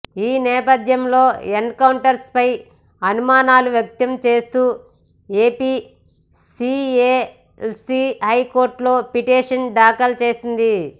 ఈ నేపథ్యంలో ఎన్కౌంటర్పై అనుమానాలు వ్యక్తం చేస్తూ ఏపీసీఎల్సీ హైకోర్టులో పిటిషన్ దాఖలు చేసింది